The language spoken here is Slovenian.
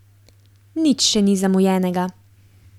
Nič še ni zamujenega.